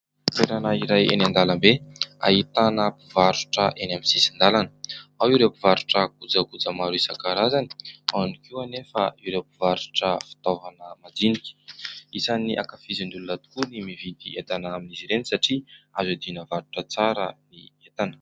Toerana iray eny an-dalambe, ahitana mpivarotra eny amin'ny sisin-dalana. Ao ireo mpivarotra kojakoja maro isankarazany, ao ihany koa anefa ireo mpivarotra fitaovana madinika. Isan'ny hankafizin'ny olona tokoa ny mividy entana amin'izy ireny satria azo hiadiana varotra tsara ny entana.